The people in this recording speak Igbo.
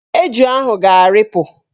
Eju ahụ ga-arịpụ.